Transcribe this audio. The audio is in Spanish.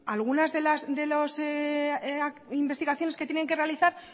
algunas de las investigaciones que tienen que realizar